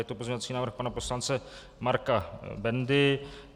Je to pozměňovací návrh pana poslance Marka Bendy.